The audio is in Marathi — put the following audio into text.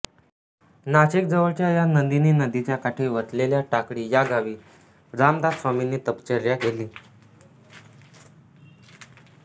नाशिक जवळच्या या नंदिनी नदीच्या काठी वसलेल्या टाकळी या गावी रामदासस्वामींनी तपश्चर्या केली